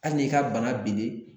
Hali n'i ka bana binnen